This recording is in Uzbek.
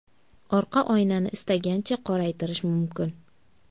Orqa oynani istagancha qoraytirish mumkin.